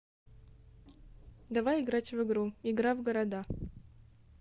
давай играть в игру игра в города